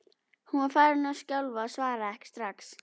Hún var farin að skjálfa og svaraði ekki strax.